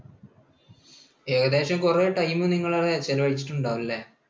ഏകദേശം കുറെ time നിങ്ങൾ അവിടെ ചെലവഴിച്ചിട്ട് ഉണ്ടാകും അല്ലേ?